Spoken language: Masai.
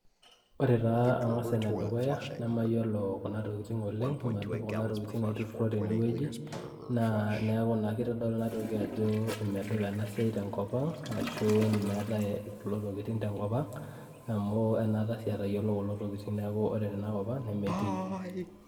Ore taa angas enedukuya nemayiolo kuna tokitin oleng, madup kuna tokitin naitururo tenewueji naa neaku naa kitodolu enatoki ajo medupa ena siai tenkop ang ashu meetae kulo tokitin tenkop ang amu anaata sii atayiolo kulo tokitin neaku ore tenakop ang nemetii .